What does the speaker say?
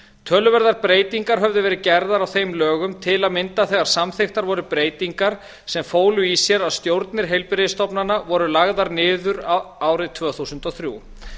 töluverðar breytingar höfðu verið gerðar á þeim lögum til að mynda þegar samþykktar voru breytingar sem fólu í sér að stjórnir heilbrigðisstofnana voru lagðar niður árið tvö þúsund og þrjú